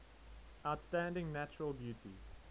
outstanding natural beauty